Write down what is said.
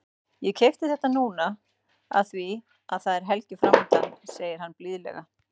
Ég keypti þetta núna af því að það er helgi framundan, segir hann blíðlega.